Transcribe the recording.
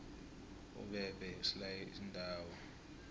umbebhe usilaye iindawo